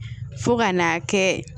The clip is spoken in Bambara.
Fo ka n'a kɛ